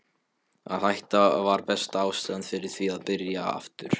Að hætta var besta ástæðan fyrir því að byrja aftur.